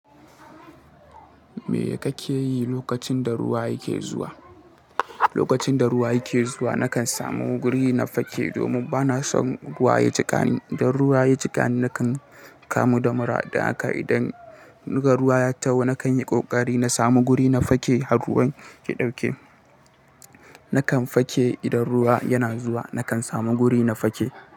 Me kake yi lokacin da ruwa yake zuwa? Lokacin da ruwa yake zuwa nakan samu guri na fake domin bana son ruwa ya jiƙani. Don ruwa ya jiƙani nakan kamu da mura, don haka idan ruwa ya taho nakan yi ƙoƙari na samu guri na fake har ruwan ya ɗauke. Nakan fake idan ruwa yana zuwa, nakan samu guri na fake.